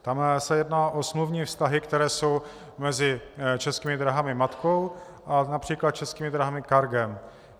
Tam se jedná o smluvní vztahy, které jsou mezi Českými dráhami matkou a například Českými dráhami Cargem.